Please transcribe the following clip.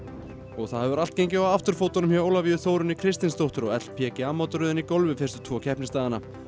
það hefur allt gengið á afturfótunum hjá Ólafíu Þórunni Kristinsdóttur á mótaröðinni í golfi fyrstu tvo keppnisdagana